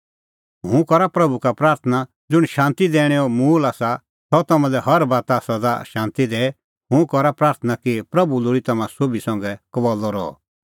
हुंह करा प्रभू का प्राथणां ज़ुंण शांती दैणैंओ मूल़ आसा सह तम्हां लै हर बाता सदा शांती दैए हुंह करा प्राथणां कि प्रभू लोल़ी तम्हां सोभी संघै कबल्लअ रहअ